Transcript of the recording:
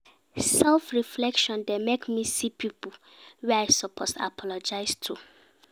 Self-reflection dey make me see pipo wey I suppose apologize to.